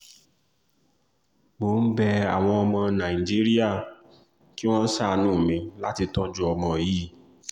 mo ń bẹ àwọn ọmọ nàìjíríà kí wọ́n ṣàánú mi láti tọ́jú ọmọ yìí